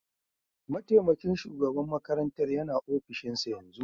Mataimakin shugaban makarantar yana ofishinsa yanzu